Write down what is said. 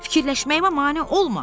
Fikirləşməyimə mane olma.